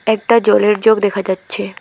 একটা জলের জগ দেখা যাচ্ছে।